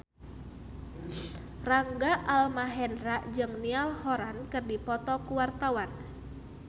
Rangga Almahendra jeung Niall Horran keur dipoto ku wartawan